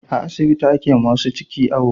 A asibiti ake wa masu ciki awo